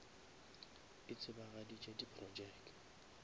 e tsebagaditše di projeke